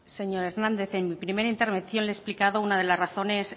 señor hernández en mi primera intervención le he explicado una de las razones